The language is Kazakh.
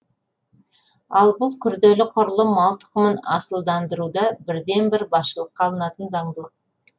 ал бұл күрделі құрылым мал тұқымын асылдандыруда бірден бір басшылыққа алынатын заңдылық